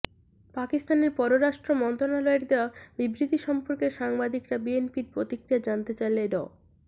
পাকিস্তানের পররাষ্ট্র মন্ত্রণালয়ের দেওয়া বিবৃতি সম্পর্কে সাংবাদিকরা বিএনপির প্রতিক্রিয়া জানতে চাইলে ড